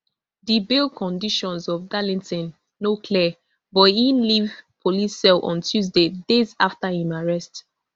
di bail conditions of darlington no clear but e leave police cell on tuesday days afta im arrest